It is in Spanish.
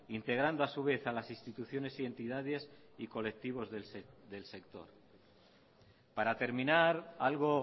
integrando a su vez a las instituciones y entidades y colectivos del sector para terminar algo